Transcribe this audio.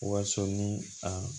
Wasɔn ni a